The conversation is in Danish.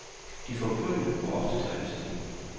De får prygl, og ofte dræbes de.